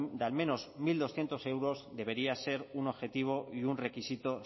de al menos mil doscientos euros debería ser un objetivo y un requisito